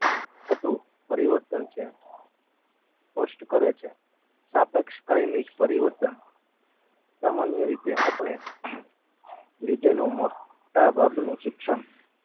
થતું પરિવર્તન છે. સ્પષ્ટ કરે છે. સાપેક્ષ કાઈમિક પરિવર્તન સામાન્ય રીતે આપણે લીધેલો મોંટા ભાગનું શિક્ષણ